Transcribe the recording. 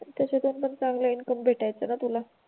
त्याच्यातून पण चांगल इनकम भेटायचं ना तुला?